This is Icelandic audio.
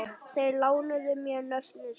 Þeir lánuðu mér nöfnin sín.